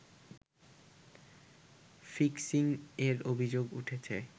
ফিক্সিং-এর অভিযোগ উঠেছে